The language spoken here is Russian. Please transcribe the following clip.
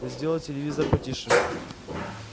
сделал телевизор потише